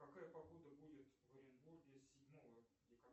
какая погода будет в оренбурге седьмого